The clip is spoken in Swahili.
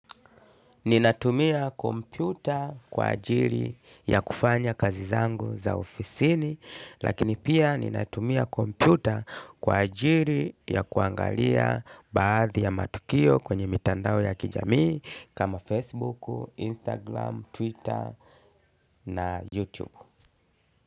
Ninatumia kompyuta kwa ajiri ya kufanya kazi zangu za ofisini, lakini pia ninatumia kompyuta kwa ajiri ya kuangalia baadhi ya matukio kwenye mitandao ya kijamii kama Facebook, Instagram, Twitter na YouTube.